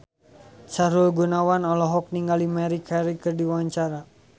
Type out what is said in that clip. Sahrul Gunawan olohok ningali Maria Carey keur diwawancara